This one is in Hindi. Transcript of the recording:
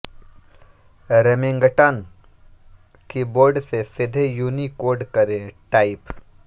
रेमिंगटन की बोर्ड से सीधे यूनीकोड करें टाइप